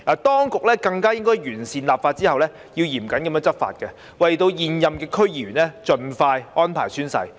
當局更應在完成立法後，嚴謹執法，為現任區議員盡快安排宣誓。